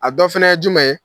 A dɔ fana ye jumɛn ye?